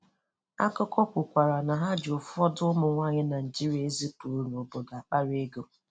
Akụkọ kwukwara na ha ji ụfọdụ ụmụnwaanyị Naịjirịa e zipuru n'obodo akpara ego.